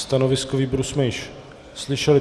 Stanovisko výboru jsme již slyšeli.